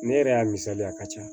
Ne yɛrɛ y'a misaliya a ka ca